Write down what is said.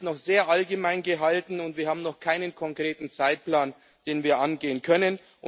Denn es ist noch sehr allgemein gehalten, und wir haben noch keinen konkreten Zeitplan, nach dem wir vorgehen können.